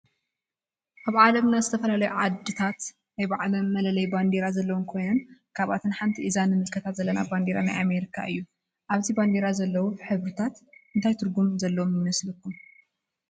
አብ ዓለምና ዝተፈላለዩ ዓድታት ናይ ባዕለን መለለይ ባንዴራ ዘለወን ኮይነን ካብአተን ሓንቲ እዚ ንምልከቶ ዘለና ባንዴራ ናይ አሜሪካ እዩ። አብዚ ባንዴራ ዘለው ሕብርታት እንታይ ትርጉም ዘለዎም ይመስሉኩም?